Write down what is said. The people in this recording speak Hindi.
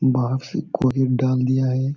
बाहर से कोरी एक डाल दिया है।